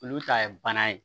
Olu ta ye bana ye